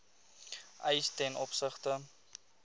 eis ten opsigte